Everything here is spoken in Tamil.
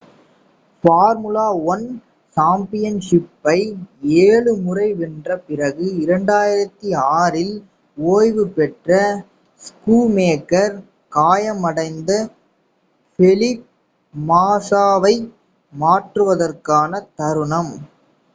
ஃபார்முலா 1 சாம்பியன்ஷிப்பை ஏழு முறை வென்ற பிறகு 2006 இல் ஓய்வு பெற்ற ஸ்கூமேக்கர் காயமடைந்த ஃபெலிப் மாஸாவை மாற்றுவதற்கான தருணம்